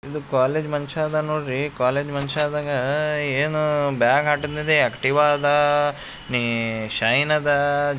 ಇದು ಕಾಲೇಜ್ ಮನ್ಶಇದನ್ ನೋಡ್ರೀ ಕಾಲೇಜ್ ಮನ್ಷದ್ನ್ಗಾ ಏನೂ ಬ್ಯಾಗ್ ಆಟದಿಂದೆ ಆಕ್ಟಿವ್ ಆದಾ ನೀ ಶೈನ್ ಅದಾ--